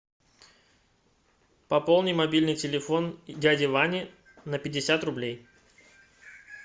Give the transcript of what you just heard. пополни мобильный телефон дяди вани на пятьдесят рублей